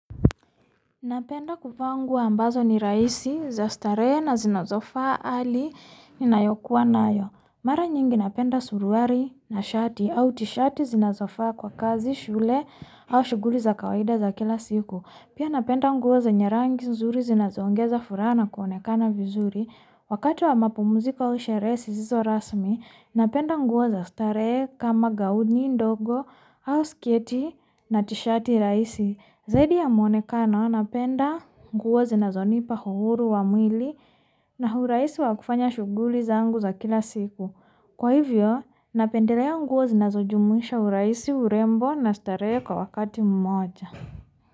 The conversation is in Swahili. Napenda kuvaa nguo ambazo ni rahisi za starehee na zinazofaa hali inayo kuwa nayo. Mara nyingi napenda suruali na shati au tishati zinazofaa kwa kazi, shule, au shughuli za kawaida za kila siku. Pia napenda nguo zenye rangi nzuri zinazoongeza furaha na kuonekana vizuri. Wakati wa mapumziko au sherehe zisizo rasmi, napenda nguo za starehe kama gauni ndogo, au sketi na tishati rahisi. Zaidi ya muonekano napenda nguo zinazonipa uhuru wa mwili na urahisi wa kufanya shughuli zangu za kila siku. Kwa hivyo, napendelea nguo zinazojumuisha urahisi, urembo na starehe kwa wakati mmoja.